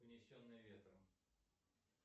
унесенные ветром